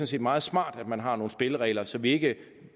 set meget smart at man har nogle spilleregler så vi ikke